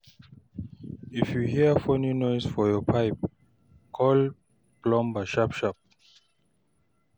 If you hear funny noise from your pipe, call plumber sharp-sharp.